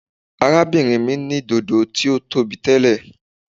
Arábìnrin mi ní dodo tí ó tóbi tẹ́lẹ̀.